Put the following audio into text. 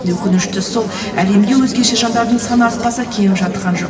өкініштісі сол әлемде өзгеше жандардың саны артпаса кеміп жатқан жоқ